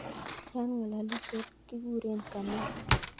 Yat ngalalisiet kiguren Kamau